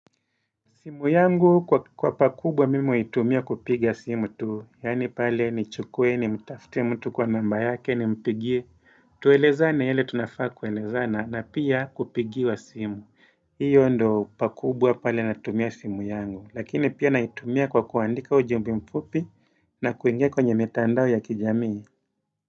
Simu yangu kwa pakubwa mimi huitumia kupiga simu tu, yani pale ni chukuwe ni mtafute mtu kwa namba yake ni mpigie, tuelezana yale tunafaa kuelezana na pia kupigiwa simu, hiyo ndo pakubwa pale natumia simu yangu, lakini pia naitumia kwa kuandika ujumbe mfupi na kuingia kwenye mitandao ya kijamii.